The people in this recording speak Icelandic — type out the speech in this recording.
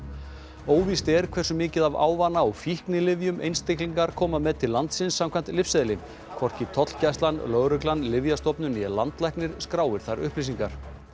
óvíst er hversu mikið af ávana og fíknilyfjum einstaklingar koma með til landsins samkvæmt lyfseðli hvorki tollgæslan lögreglan Lyfjastofnun né landlæknir skráir þær upplýsingar